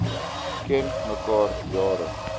ken mekaar jare